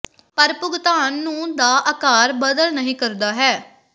ਪਰ ਭੁਗਤਾਨ ਨੂੰ ਦਾ ਆਕਾਰ ਬਦਲ ਨਹੀ ਕਰਦਾ ਹੈ